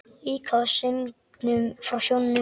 Líka af söngnum frá sjónum.